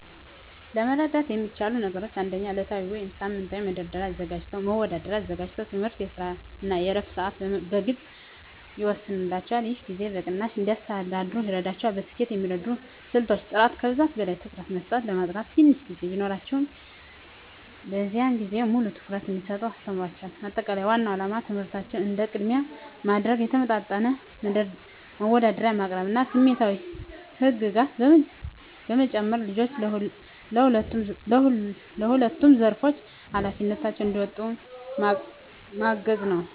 ለመርዳት የሚቻሉ ነገሮች 1. ዕለታዊ ወይም ሳምንታዊ መደርደሪያ አዘጋጅተው የትምህርት፣ የስራ እና የዕረፍት ሰዓትን በግልፅ ይወስኑላቸው። ይህ ጊዜን በቅናሽ እንዲያስተዳድሩ ይረዳቸዋል። ለስኬት የሚረዱ ስልቶች · ጥራት ከብዛት በላይ ትኩረት መስጠት ለማጥናት ትንሽ ጊዜ ቢኖራቸውም፣ በዚያን ጊዜ ሙሉ ትኩረት እንዲሰጡ አስተምሯቸው። ማጠቃለያ ዋናው ዓላማ ትምህርታቸውን እንደ ቅድሚያ ማድረግ፣ የተመጣጠነ መደርደሪያ ማቅረብ እና ስሜታዊ ህግጋት በመጨመር ልጆቹ በሁለቱም ዘርፎች ኃላፊነታቸውን እንዲወጡ ማገዝ ነው።